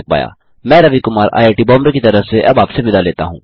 मैं Ravi Kumar I I T Bombay की तरफ से अब आपसे विदा लेता हूँ